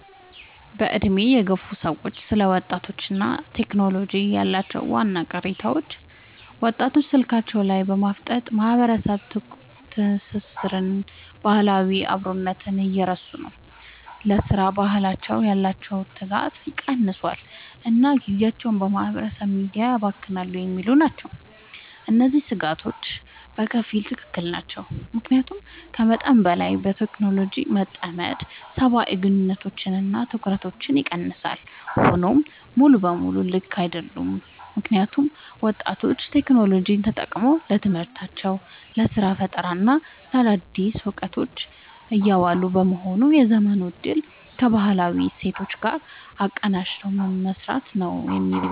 በዕድሜ የገፉ ሰዎች ስለ ወጣቶችና ቴክኖሎጂ ያላቸው ዋና ቅሬታዎች፦ ወጣቶች ስልካቸው ላይ በማፍጠጥ ማህበራዊ ትስስርንና ባህላዊ አብሮነትን እየረሱ ነው: ለሥራ ባህል ያላቸው ትጋት ቀንሷል: እና ጊዜያቸውን በማህበራዊ ሚዲያ ያባክናሉ የሚሉ ናቸው። እነዚህ ስጋቶች በከፊል ትክክል ናቸው። ምክንያቱም ከመጠን በላይ በቴክኖሎጂ መጠመድ ሰብአዊ ግንኙነቶችንና ትኩረትን ይቀንሳል። ሆኖም ሙሉ በሙሉ ልክ አይደሉም: ምክንያቱም ወጣቶች ቴክኖሎጂን ተጠቅመው ለትምህርታቸው: ለስራ ፈጠራና ለአዳዲስ እውቀቶች እያዋሉት በመሆኑ የዘመኑን እድል ከባህላዊ እሴቶች ጋር አቀናጅቶ መምራት ነው የሚበጀው።